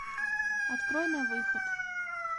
открой на выход